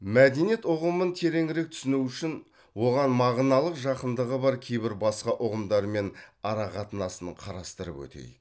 мәдениет ұғымын тереңірек түсіну үшін оған мағыналық жақындығы бар кейбір басқа ұғымдармен арақатынасын қарастырып өтейік